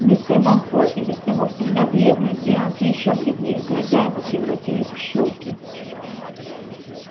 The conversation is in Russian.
мистер малфой и без того всегда бледный сделался ещё бледнее глаза его превратились в щёлки